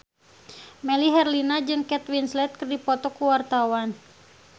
Melly Herlina jeung Kate Winslet keur dipoto ku wartawan